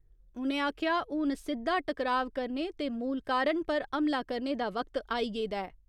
उ'नें आखेआ हुन सिद्दा टकराव करने ते मूल कारण पर हमला करने दा वक्त आई गेदा ऐ।